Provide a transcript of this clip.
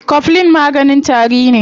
Coflin maganin tari ne.